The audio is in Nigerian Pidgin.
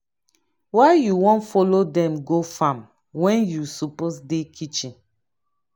why you wan follow dem go farm when you suppose dey kitchen?